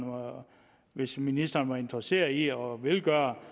hvis ministeren var interesseret i det og ville gøre